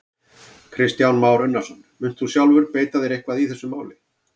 Kristján Már Unnarsson: Munt þú sjálfur beita þér eitthvað í þessu máli?